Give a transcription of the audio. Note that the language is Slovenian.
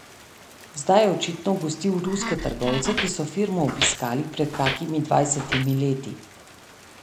Zdaj je očitno gostil ruske trgovce, ki so firmo obiskali pred kakimi dvajsetimi leti.